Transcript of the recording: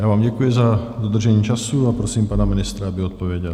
Já vám děkuji za dodržení času a prosím pana ministra, aby odpověděl.